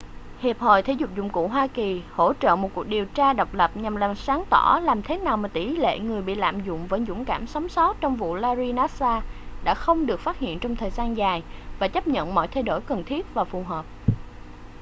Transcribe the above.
hiệp hội thể dục dụng cụ hoa kỳ hỗ trợ một cuộc điều tra độc lập nhằm làm sáng tỏ làm thế nào mà tỉ lệ người bị lạm dụng vẫn dũng cảm sống sót trong vụ larry nassar đã không được phát hiện trong thời gian dài và chấp nhận mọi thay đổi cần thiết và phù hợp